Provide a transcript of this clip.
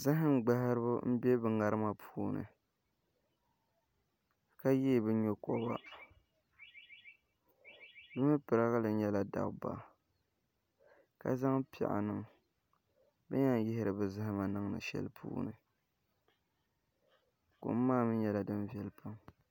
Zaham gbaharibi n bɛ ŋarima puuni ka yee bi nyokoba bi mii pirigili nyɛla dabba ka zaŋ piɛɣu niŋ bi ni yɛn yihiri bi zahama niŋdi shɛli puuni kom maa mii nyɛla din viɛli pam